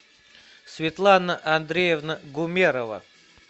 светлана андреевна гумерова